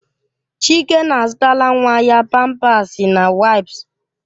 Chike na-azụtala nwa ya pampasi na waìps